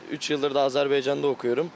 Üç ildir də Azərbaycanda oxuyuram.